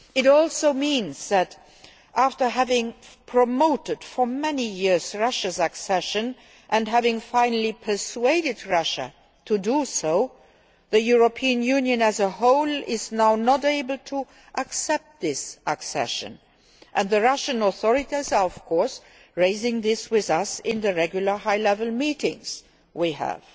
It also means that after having promoted Russia's accession for many years and having finally persuaded Russia to accede, the European Union as a whole is now not able to accept this accession and the Russian authorities are of course raising this with us in the regular high level meetings we have.